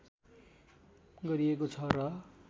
गरिएको छ र